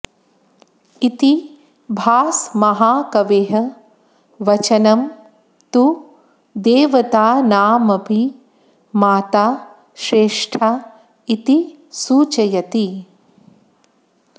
इति भासमहाकवेः वचनं तु देवतानामपि माता श्रेष्ठा इति सूचयति